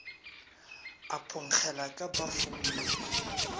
a phonkgela ka pafong ye